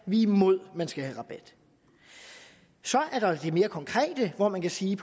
vi er imod at man skal have rabat så er der det mere konkrete hvor man kan sige